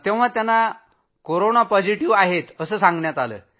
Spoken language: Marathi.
तेव्हा त्यांना कोरोना पॉझिटिव्ह सांगण्यात आलं